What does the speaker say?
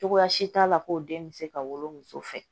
Cogoya si t'a la ko den bɛ se ka wolo muso fɛ